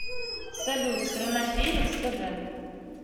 салют страна перец тв